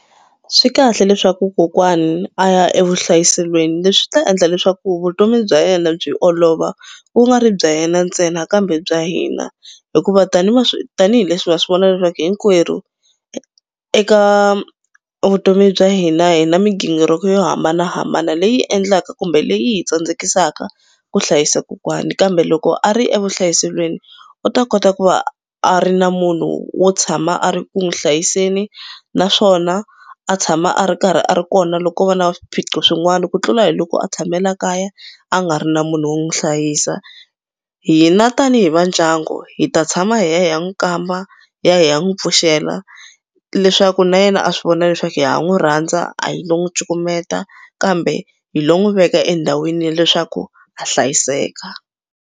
Swi kahle leswaku kokwani a ya evuhlayiselweni leswi ta endla leswaku vutomi bya yena byi olova ku nga ri bya yena ntsena kambe bya hina hikuva tanihi tanihileswi swi vona leswaku hinkwerhu eka vutomi bya hina hina migingiriko yo hambanahambana leyi endlaka kumbe leyi hi tsandzekisaka ku hlayisa kokwani kambe loko a ri evuhlayiselweni u ta kota ku va a ri na munhu wo tshama a ri ku n'wi hlayiseni naswona a tshama a ri karhi a ri kona loko va na swiphiqo swin'wana ku tlula hi loko a tshame la kaya a nga ri na munhu wo n'wi hlayisa. Hina tanihi va ndyangu hi ta tshama hi ya hi ya n'wi kamba, hi ya hi ya n'wi pfuxela leswaku na yena a swi vona leswaku ha n'wi rhandza a hi lo n'wi cukumeta kambe hi lo n'wi veka endhawini ya leswaku a hlayiseka.